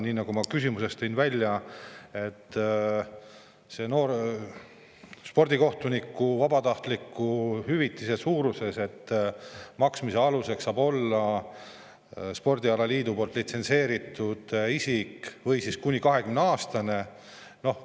Nii nagu ma oma küsimuses välja tõin, vabatahtlikule spordikohtunikule hüvitise maksmise alus on, et spordialaliidu poolt litsentseeritud isikuga või kuni 20‑aastase noorega.